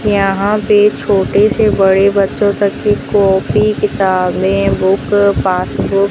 यहां पे छोटे से बड़े बच्चों तक की कॉपी किताबें बुक पासबुक --